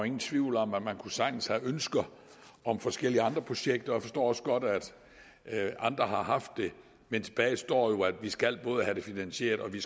ingen tvivl om at man sagtens kunne have ønsker om forskellige andre projekter og jeg forstår også godt at andre har haft det men tilbage står jo at vi skal have det finansieret og vi